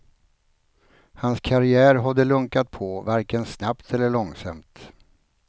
Hans karriär hade lunkat på varken snabbt eller långsamt.